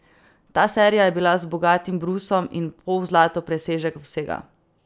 Ta serija je bila z bogatim brusom in pozlato presežek vsega.